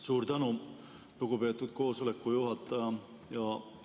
Suur tänu, lugupeetud koosoleku juhataja!